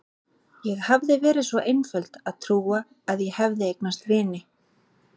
Ég hafði verið svo einföld að trúa að ég hefði eignast vini.